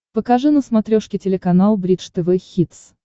покажи на смотрешке телеканал бридж тв хитс